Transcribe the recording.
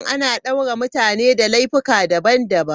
Ana daure mutane da laifuka daban-daban.